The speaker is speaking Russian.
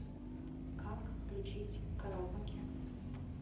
как включить караоке